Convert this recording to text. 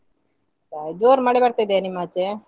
ಹೌದಾ ಜೋರ್ ಮಳೆ ಬರ್ತಾ ಇದೆಯ ನಿಮ್ಮಾಚೆ?